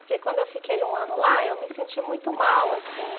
Porque quando eu fiquei um ano lá, eu me senti muito mal, assim.